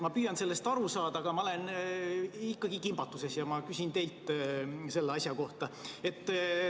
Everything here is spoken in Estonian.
Ma püüan sellest aru saada, aga ma olen ikkagi kimbatuses ja ma küsin teilt selle kohta.